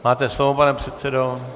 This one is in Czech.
Máte slovo, pane předsedo.